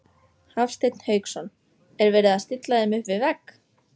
Hafsteinn Hauksson: Er verið að stilla þeim upp við vegg?